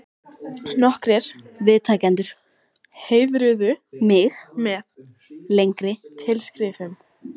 Nokkrir viðtakendur heiðruðu mig með lengri tilskrifum.